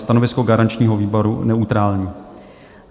Stanovisko garančního výboru: neutrální.